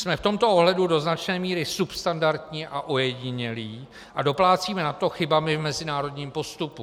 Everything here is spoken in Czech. Jsme v tomto ohledu do značné míry substandardní a ojedinělí a doplácíme na to chybami v mezinárodním postupu.